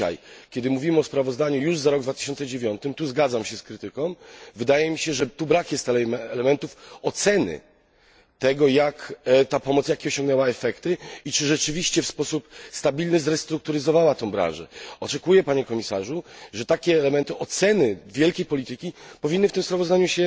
I dzisiaj, kiedy mówimy o sprawozdaniu już za rok 2009 tu zgadzam się z krytyką wydaje mi się, że brak jest elementów oceny tego, jakie ta pomoc osiągnęła efekty i czy rzeczywiście w sposób stabilny zrestrukturyzowała tę branżę. Oczekuję, Panie Komisarzu, że takie elementy oceny wielkiej polityki powinny się w tym sprawozdaniu